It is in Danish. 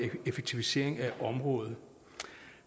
effektivisering af området